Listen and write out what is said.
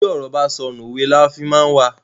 Bi ọ̀rọ̀ bá sọnù, òwe la má fi n wa